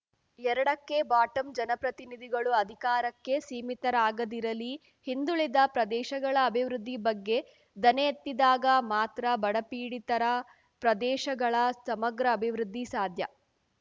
ಎರಡಕ್ಕೆಬಾಟಮ್‌ ಜನಪ್ರತಿನಿಧಿಗಳು ಅಧಿಕಾರಕ್ಕೆ ಸೀಮಿತರಾಗದಿರಲಿ ಹಿಂದುಳಿದ ಪ್ರದೇಶಗಳ ಅಭಿವೃದ್ಧಿ ಬಗ್ಗೆ ದನಿ ಎತ್ತಿದಾಗ ಮಾತ್ರ ಬಡಪೀಡಿತರ ಪ್ರದೇಶಗಳ ಸಮಗ್ರ ಅಭಿವೃದ್ಧಿ ಸಾಧ್ಯ